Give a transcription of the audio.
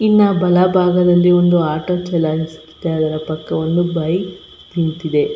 ಇನ್ನ ಬಲ ಭಾಗದಲ್ಲಿ ಒಂದು ಆಟೊ ಚಲಾಯಿಸಿದ್ದರ ಪಕ್ಕ ಒಂದು ಬೈಕ್ ನಿಂತಿದೆ .